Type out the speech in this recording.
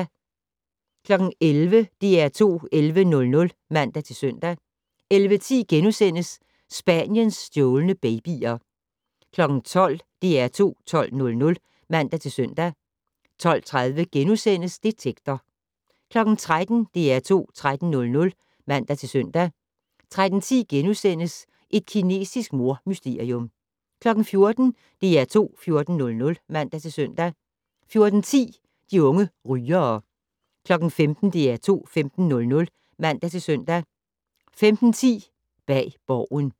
11:00: DR2 11:00 (man-søn) 11:10: Spaniens stjålne babyer * 12:00: DR2 12:00 (man-søn) 12:30: Detektor * 13:00: DR2 13:00 (man-søn) 13:10: Et kinesisk mordmysterium * 14:00: DR2 14:00 (man-søn) 14:10: De unge rygere 15:00: DR2 15:00 (man-søn) 15:10: Bag Borgen